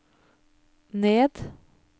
ned